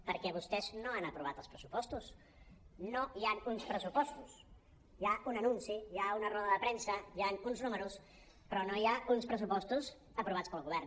perquè vostès no han aprovat els pressupostos no hi han uns pressupostos hi ha un anunci hi ha una roda de premsa hi han uns números però no hi ha uns pressupostos aprovats pel govern